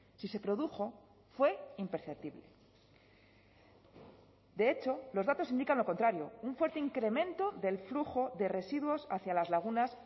si se produjo fue imperceptible de hecho los datos indican lo contrario un fuerte incremento del flujo de residuos hacia las lagunas